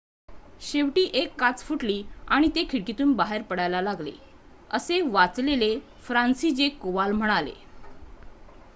"""शेवटी १ काच फुटली आणि ते खिडकीतून बाहेर पडायला लागले," असे वाचलेले फ्रांसिजेक कोवाल म्हणाले.